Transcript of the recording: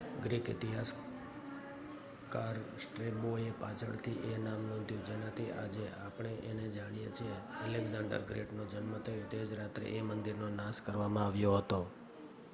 Greek ઇતિહાસકાર સ્ટ્રેબોએ પાછળથી એ નામ નોંધ્યું જેનાથી આજે આપણે એને જાણીએ છીએ એલેક્ઝાંડર ગ્રેટનો જન્મ થયો તે જ રાત્રે એ મંદિરનો નાશ કરવામાં આવ્યો હતો